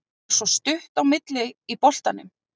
Það er svo stutt á milli í boltanum.